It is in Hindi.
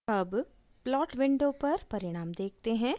अब plot window पर परिणाम देखते हैं